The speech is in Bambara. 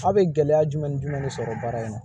A bɛ gɛlɛya jumɛn ni jumɛn de sɔrɔ baara in na